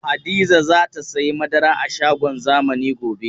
Hadiza za ta sayi madara a shagon zamani gobe.